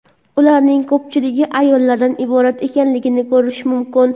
ularning ko‘pchiligi ayollardan iborat ekanligini ko‘rish mumkin.